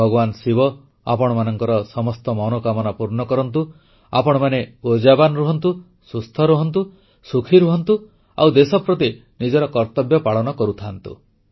ଭଗବାନ ଶିବ ଆପଣଙ୍କର ସମସ୍ତ ମନୋକାମନା ପୂର୍ଣ୍ଣ କରନ୍ତୁ ଆପଣମାନେ ଉର୍ଜାବାନ ରୁହନ୍ତୁ ସୁସ୍ଥ ରୁହନ୍ତୁ ସୁଖୀ ହୁଅନ୍ତୁ ଆଉ ଦେଶ ପ୍ରତି ନିଜର କର୍ତ୍ତବ୍ୟ ପାଳନ କରୁଥାଆନ୍ତୁ